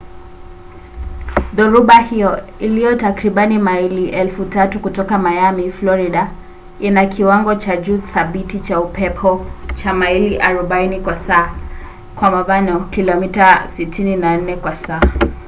dhoruba hiyo iliyo takribani maili 3,000 kutoka miami florida ina kiwango cha juu thabiti cha upepo cha maili 40 kwa saa kilomita 64 kwa saa